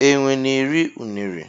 enwe na eri unere.